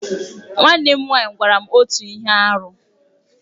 Nwanne m nwaanyị gwara m otu ihe arụ.